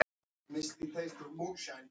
Segi þeim ekki frá því.